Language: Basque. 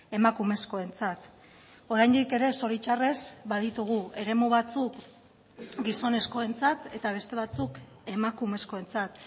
emakumezkoentzat oraindik ere zoritxarrez baditugu eremu batzuk gizonezkoentzat eta beste batzuk emakumezkoentzat